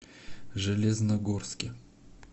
железногорске